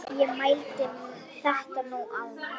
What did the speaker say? Ég heiti Thomas Lang.